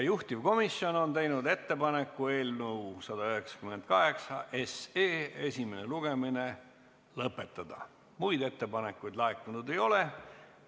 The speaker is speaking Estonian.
Juhtivkomisjon on teinud ettepaneku eelnõu 198 esimene lugemine lõpetada, muid ettepanekuid laekunud ei ole.